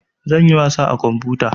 Zan yi wasa a kamfuta